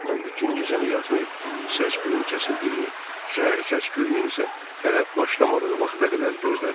Mən bütün gecəni yatmayıb, səs-küyün kəsildiyini, səhər səs-küyünün isə hələ başlamadığı vaxta qədər gözlədim.